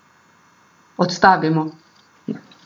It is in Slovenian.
Odstavimo.